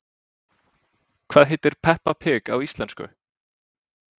Hvað heitir Peppa pig á íslensku?